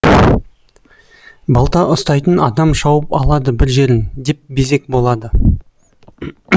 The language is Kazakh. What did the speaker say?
балта ұстайтын адам шауып алады бір жерін деп безек болады